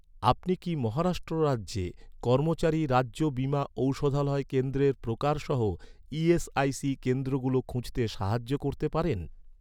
আপনি কি মহারাষ্ট্র রাজ্যে কর্মচারী রাজ্য বীমা ঔষধালয় কেন্দ্রের প্রকারসহ, ইএসআইসি কেন্দ্রগুলো খুঁজতে সাহায্য করতে পারেন?